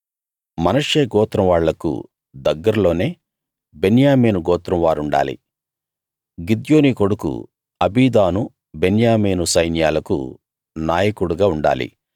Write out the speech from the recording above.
మనష్షే గోత్రం వాళ్లకు దగ్గర్లోనే బెన్యామీను గోత్రం వారుండాలి గిద్యోనీ కొడుకు అబీదాను బెన్యామీను సైన్యాలకు నాయకుడుగా ఉండాలి